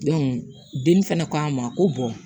den fɛnɛ ko an ma ko bɔn